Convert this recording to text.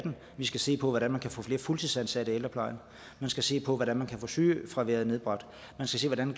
vi skal se på hvordan vi kan få flere fuldtidsansatte i ældreplejen vi skal se på hvordan man kan få sygefraværet nedbragt man skal se hvordan